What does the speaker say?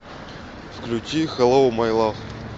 включи хэллоу май лав